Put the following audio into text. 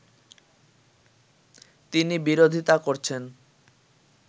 তিনি বিরোধিতা করছেন